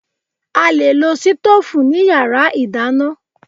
A lè lo sítóòfù ní yàrá ìdáná.